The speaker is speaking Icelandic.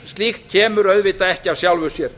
slíkt kemur auðvitað ekki af sjálfu sér